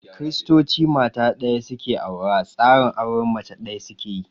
Kiristoci mata ɗaya su ke aura, tsarin auren mace ɗaya su ke yi.